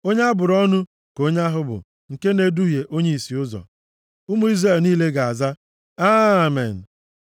“Onye a bụrụ ọnụ ka onye ahụ bụ nke na-eduhie onye ìsì ụzọ.” Ụmụ Izrel niile ga-aza, “Amen.”